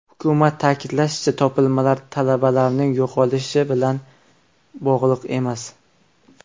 Hukumat ta’kidlashicha, topilmalar talabalarning yo‘qolish ishi bilan bog‘liq emas.